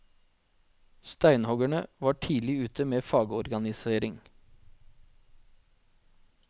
Steinhuggerne var tidlig ute med fagorganisering.